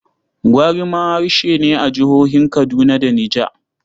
Gwari ma harshe ne a jihohin Kaduna da Niger.